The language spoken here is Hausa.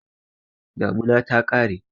Damina ta ƙare.